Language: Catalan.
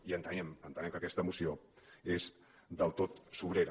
i entenem que aquesta moció és del tot sobrera